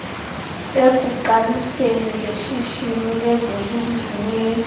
ekuqaliseni ngeshishini lezobunjineli